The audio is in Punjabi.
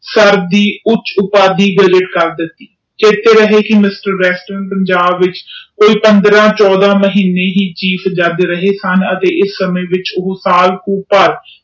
ਸਰ ਦੀ ਉੱਚ ਉਪਾਧੀ ਕਰ ਦਿਤੀ ਚੇਤੇ ਰਹੇ ਕਿ ਮਿਸਟਰ ਵੈਸਟਰਨ ਪੰਜਾਬ ਵਿਚ ਕੋਈ ਪੰਦ੍ਰਹ ਚੌਦਹ ਮਹੀਨੇ ਹੀ chief judge ਰਹੇ ਸਨ ਅਤੇ ਇਸ ਸਮੇਂ ਵਿਚ ਸਾਲ ਕੁ ਭਰ।